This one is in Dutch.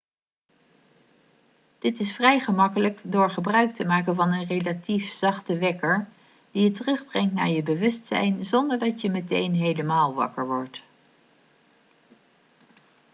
dit is vrij gemakkelijk door gebruik te maken van een relatief zachte wekker die je terugbrengt naar je bewustzijn zonder dat je meteen helemaal wakker wordt